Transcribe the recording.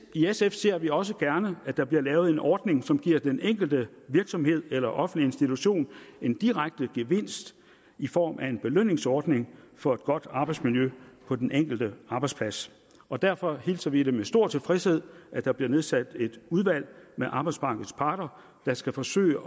i sf ser vi også gerne at der bliver lavet en ordning som giver den enkelte virksomhed eller offentlige institution en direkte gevinst i form af en belønningsordning for et godt arbejdsmiljø på den enkelte arbejdsplads og derfor hilser vi med stor tilfredshed at der bliver nedsat et udvalg med arbejdsmarkedets parter der skal forsøge